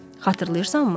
Xatırlayırsanmı?